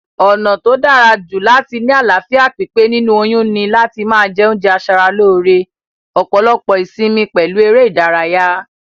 Ònà tó dárajù láti ni àláfíà pípé nínú oyún ni láti ma je oúnje asaralóre, òpòlopò ìsimi pèlu eré ìdárayá